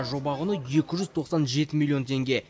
жоба құны екі жүз тоқсан жеті миллион теңге